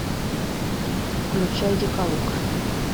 включай декалог